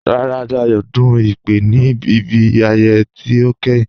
Rárá, Dáyọ̀ dún ìpè ní ibi ayẹyẹ̀ tí o kẹ́hìn